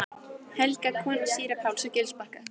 Helga, kona síra Páls á Gilsbakka.